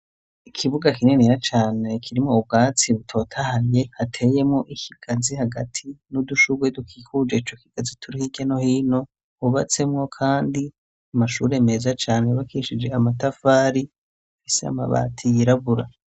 Ikibuga kinenera cane kirimwo ubwatsi butotahaye ateyemwo ikiganzi hagati n'udushurwe dukikuje co kigazi turi hiryano hino hubatsemwo, kandi amashure meza cane bakishije amatafari isi amabati yirabura.